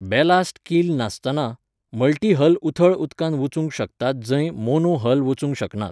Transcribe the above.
Ballast keel नासतना multi hull उथळ उदकांत वचूंक शकतात जंय मोनो हल वचूंक शकनात.